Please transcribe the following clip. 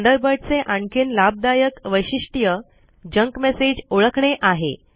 Thunderbird चे आणखीन लाभदायक वैशिष्ट जंक मेसेज ओळखणे आहे